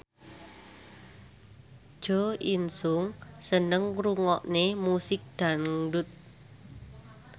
Jo In Sung seneng ngrungokne musik dangdut